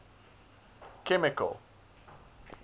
chemical